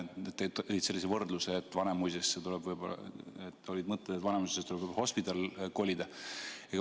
Tõid sellise võrdluse, et olid mõtted, et Vanemuisesse tuleb võib-olla hospidal kolida.